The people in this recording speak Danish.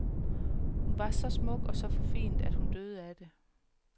Hun var så smuk og så forfinet, at hun døde af det.